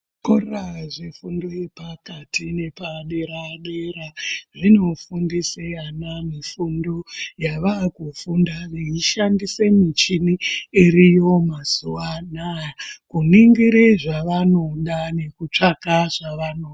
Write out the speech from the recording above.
Zvikora zvefundo yepakati nepadera dera zvinofundisa ana fundo yawakufunda nekushandisa michini iriyo mazuwa anaya, kuningira zvawanoda nekutsvaka zvawanoda.